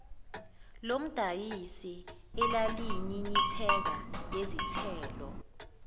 lomdayisi elalinyinyitheka yizithelo